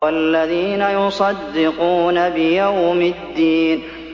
وَالَّذِينَ يُصَدِّقُونَ بِيَوْمِ الدِّينِ